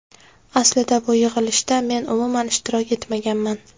Aslida bu yig‘ilishda men umuman ishtirok etmaganman.